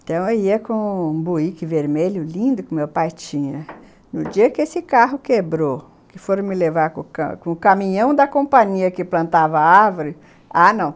Então eu ia com um buíque vermelho lindo que meu pai tinha no dia que esse carro quebrou que foram me levar com com o caminhão da companhia que plantava a árvore Ah, não!